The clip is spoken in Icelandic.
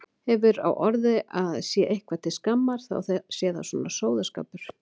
Hefur á orði að sé eitthvað til skammar þá sé það svona sóðaskapur.